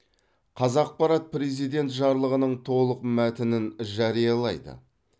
қазақпарат президент жарлығының толық мәтінін жариялайды